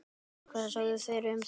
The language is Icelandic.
Hvað sögðu þeir um þetta?